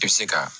I bɛ se ka